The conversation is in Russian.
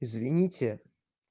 извините